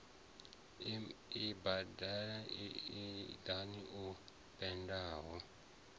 ibannda ii idala o penndelwa